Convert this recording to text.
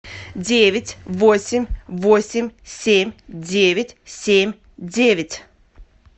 девять восемь восемь семь девять семь девять